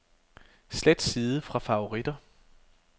Slet side fra favoritter.